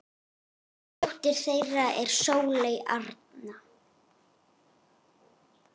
Dóttir þeirra er Sóley Arna.